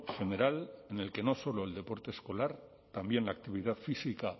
general en el que no solo el deporte escolar también la actividad física